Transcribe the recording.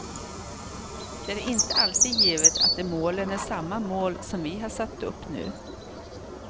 Det är inte alltid givet att de målen är samma mål som vi har satt upp nu.